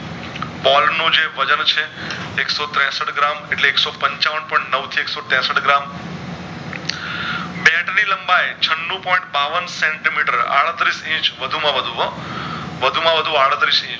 બોલનો જે વજન છે એક શો ત્રેષઠ ગ્રામ એટલે એક શો પંચાવન point નવ થી એક શો ત્રેષઠ ગ્રામ બેટ ની લંબાય છનું point બાવન સેન્ટી મીટર આડત્રીશ ઈચ વધુ માં વધુ હો વધુ માં વધુ આડત્રીશ